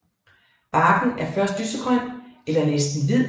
Barken er først lysegrøn eller næsten hvid